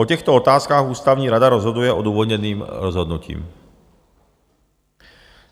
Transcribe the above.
O těchto otázkách ústavní rada rozhoduje odůvodněným rozhodnutím.